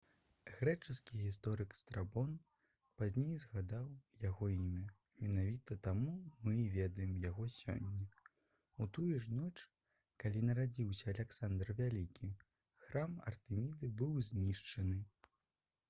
грэчаскі гісторык страбон пазней згадаў яго імя менавіта таму мы і ведаем яго сёння у тую ж ноч калі нарадзіўся аляксандр вялікі храм артэміды быў знішчаны